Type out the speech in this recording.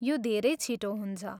यो धेरै छिटो हुन्छ।